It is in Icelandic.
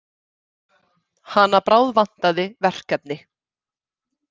Hana bráðvantaði verkefni.